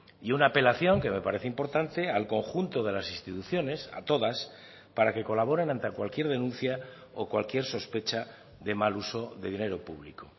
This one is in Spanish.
y una apelación que me parece importante al conjunto de las instituciones a todas para que colaboren ante cualquier denuncia o cualquier sospecha de mal uso de dinero público